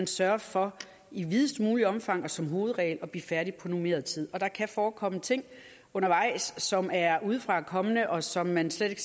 sørge for i videst mulig omfang og som hovedregel at blive færdig på normeret tid der kan forekomme ting undervejs som er udefrakommende og som man slet ikke